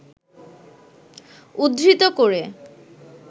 উদ্ধৃত করে